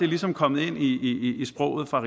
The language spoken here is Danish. ligesom kommet ind i sproget fra